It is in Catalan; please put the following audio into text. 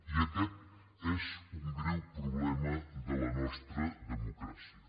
i aquest és un greu problema de la nostra democràcia